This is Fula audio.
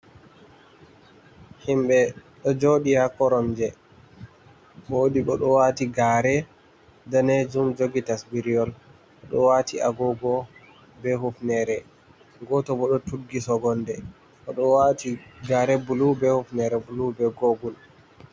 Himɓe ɗo jooɗi haa koromje, woodi bo ɗo waati gaare daneejum jogi tasbiryol, ɗo waati agoogo bee hufneere, gooto bo ɗo tuggi sogonnde, gooto bo ɗo waati gaare bulu bee hufneere bulu bee googul.